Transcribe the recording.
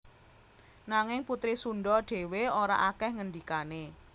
Nanging putri Sundha dhéwé ora akèh ngandikané